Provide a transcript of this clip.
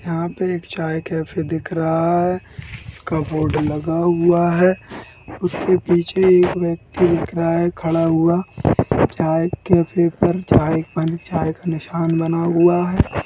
यहाँ पे एक चाय कैफ़े दिख रहा है इसका बोर्ड लगा हुआ है उसके पीछे एक व्यक्ति दिख रहा है खड़ा हुआ चाय कैफ़े पर चाय बन चाय का निशान बना हुआ है।